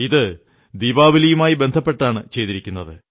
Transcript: ഇത് ദീപാവലിയുമായി ബന്ധപ്പെട്ടാണ് ചെയ്തിരിക്കുന്നത്